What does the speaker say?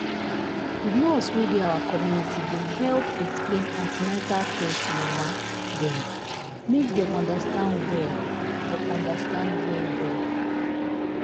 the nurse wey dey our community been help explain an ten atal care to mama dem make dem understand well dem understand well well.